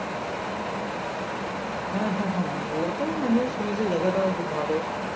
হ্যা হ্যা হ্যা ও তো শুনেছি জায়গাটাও খুব ভালো